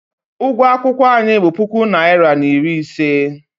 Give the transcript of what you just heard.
Ụgwọ akwụkwọ anyị bụ puku naịra na iri ise.